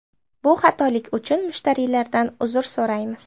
Bu xatolik uchun mushtariylardan uzr so‘raymiz.